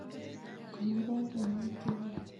Konoren kinuok cheuwen.